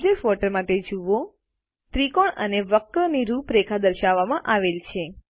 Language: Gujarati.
ઓબ્જેક્ટ વોટર માં તે જુઓ ત્રિકોણ અને વક્રની રૂપરેખા દર્શાવવામાં આવેલ છે